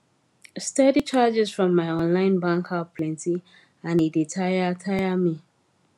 steady charges from my online bank app plenti and e dey tire tire me